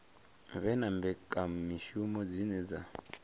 vhe na mbekamishumo dzine dza